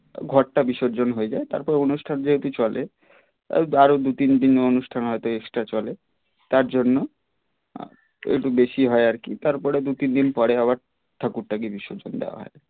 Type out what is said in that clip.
ঘটটা বিসর্জন হয়ে যায় তারপর অনুষ্টান যেহেতু চলে তাই আরও দু তিন দিন অনুষ্ঠান হয়ত extra চলে তার জন্য একটু বেশি হয় আর কি তার পরে দু তিনদিন পরে আবার ঠাকুরটাকে বিসর্জন দেওয়া হয়.